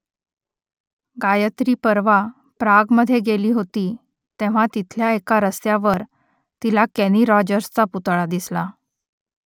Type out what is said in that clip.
गायत्री परवा प्रागमध्ये गेली होती तेव्हा तिथल्या एका रस्त्यावर तिला केनी रॉजर्सचा पुतळा दिसला